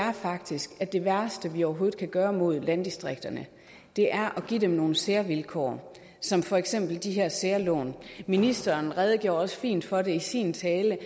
er faktisk at det værste vi overhovedet kan gøre mod landdistrikterne er at give dem nogle særvilkår som for eksempel de her særlån ministeren redegjorde også fint for det i sin tale